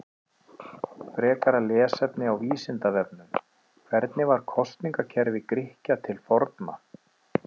Frekara lesefni á Vísindavefnum: Hvernig var kosningakerfi Grikkja til forna?